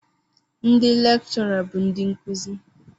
Ndị lechura bụ ndị nkuzi.